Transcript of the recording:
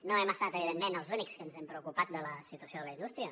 no hem estat evidentment els únics que ens hem preocupat de la situació de la indústria